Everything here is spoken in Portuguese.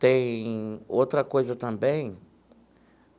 Tem outra coisa também.